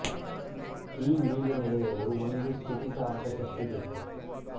ಈ ಲೀಲೆ ನೆಡೆಯಲು ಒಂದು ಸ್ಥಿತಿ ಕಾರಕ ಶಕ್ತಿ ಬೇಕು